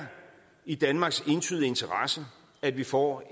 i danmarks entydige interesse at vi får